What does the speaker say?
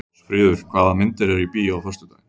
Ásfríður, hvaða myndir eru í bíó á föstudaginn?